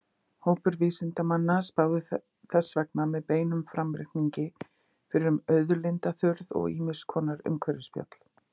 Hópar vísindamanna spáðu þess vegna með beinum framreikningi fyrir um auðlindaþurrð og ýmiss konar umhverfisspjöll.